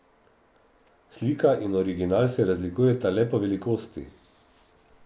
Slika in original se razlikujeta le po velikosti.